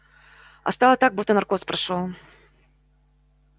а стало так будто наркоз прошёл